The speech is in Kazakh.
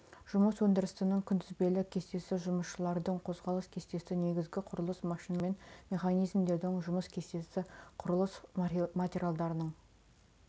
жұмыс өндірісінің күнтізбелік кестесі жұмысшылардың қозғалыс кестесі негізгі құрылыс машиналары мен механизмдерінің жұмыс кестесі құрылыс материалдарының